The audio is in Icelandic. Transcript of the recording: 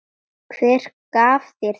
Hver gaf þér það?